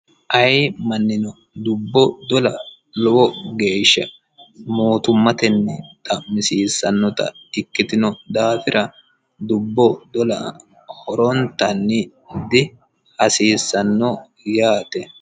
ayi mannino dubbo dola lowo geeshsha mootummatenni xa'misiissannota ikkitino daafira dubbo dola horontanni dihasiissanno yaate